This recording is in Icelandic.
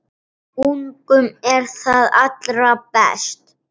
Ungum er það allra best